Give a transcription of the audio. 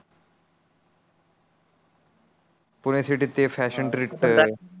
Pune city ते fashion treat